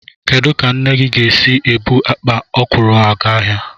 Kedụ ka nna gị ga-esi ebu akpa ọkwụrụ aga ahịa?